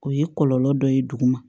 O ye kɔlɔlɔ dɔ ye duguma